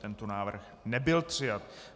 Tento návrh nebyl přijat.